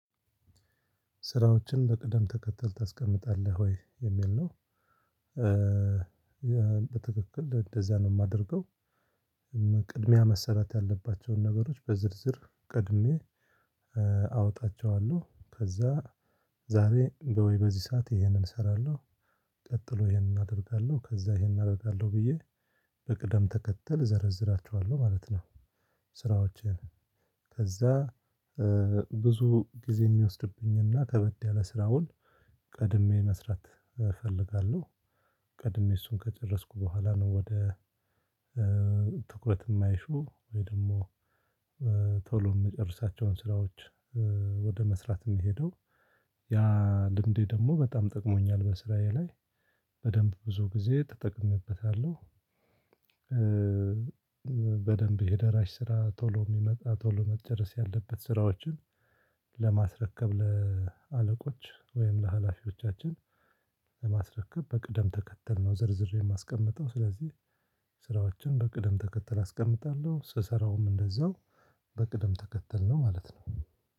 ስራዎችን በቅደም ተከተል ታስቀምጣለህ ወይ የሚል ነው? በትክክል እንደዚያ ነው የማደርገው። ቅድሚያ መሰራት ያለባቸውን ነገሮች በዝርዝር ቀድሜ አወጣቸዋለሁ። ከዛ ዛሬ በወይ በዚህ ሰዓት ይሄንን እሰራለሁ ቀጥሎ ይሄንን አደርጋለሁ ከዛ ይሄንን አደርጋለሁ ብዬ በቅደም ተከተል እዘረዝራችኋለሁ ማለት ነው። ስራዎቼን ከዛ ብዙ ጊዜ የሚወስድብኝና ከበድ ያለ ስራውን ቀድሜ መስራት እፈልጋለሁ። ቀድሜ እሱን ከጨረስኩ በኋላ ነው ወደ ትኩረት የማይሹ ወይ ደግሞ ቶሎ የምጨርሳቸውን ስራዎች ወደ መስራት የምሄደው። ያ ልምዴ ደግሞ በጣም ጠቅሞኛል በስራዬ ላይ በደንብ ብዙ ጊዜ ተጠቅሜበታለሁ። በደንብ የደራሽ ስራ ቶሎ የሚመጣ ቶሎ መጨረስ ያለበት ስራዎችን ለማስረከብ ለአለቆች ወይም ለሀላፊዎቻችን ለማስረከብ በቅደም ተከተል ነው ዘርዝሬ የማስቀምጠው። ስለዚህ ስራዎችን በቅደም ተከተል አስቀምጣለሁ ስሰራውም እንደዛው በቅደም ተከተል ነው ማለት ነው።